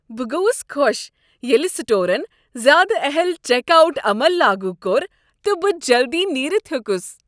بہٕ گوس خوش ییٚلہ سٹورن زیادٕ اہل چیک آوٹ عمل لاگو کوٚر تہٕ بہٕ جلدٕیہ نیرتھ ہیوٚكس۔